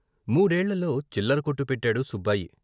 మూడేళ్ళలో చిల్లరకొట్టు పెట్టాడు సుబ్బాయి.